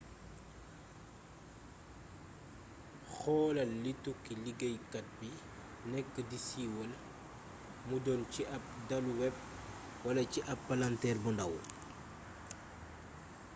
xoolal li tukki liggéeykat bi nekk di siiwal mu doon ci ab daluweb wala ci ab palanteer bu ndàw